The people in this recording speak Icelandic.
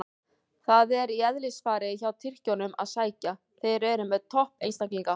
Það er í eðlisfari hjá Tyrkjunum að sækja, þeir eru með topp einstaklinga.